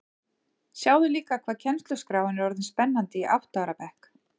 Sjáðu líka hvað kennsluskráin er orðin spennandi í átta ára bekk